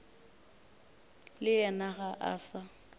le yena ga a sa